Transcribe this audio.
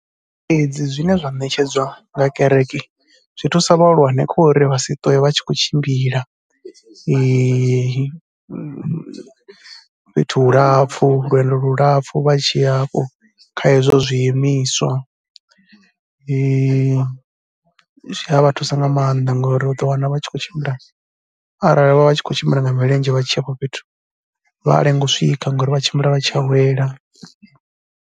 Fhedzi zwine zwa ṋetshedzwa nga kereke zwi thusa vhahulwane kho ri vha si ṱwe vha tshi khou tshimbila fhethu hu lapfhu, lwendo lu lapfhu vha tshi ya hafho kha izwo zwiimiswa, zwi a vha thusa nga maanḓa ngauri u ḓo wana vha tshi khou tshimbila arali vha vha tshi khou tshimbila nga milenzhe vha tshi ya afho fhethu vha a lenga u swika ngori vha tshimbila vha tshi a wela.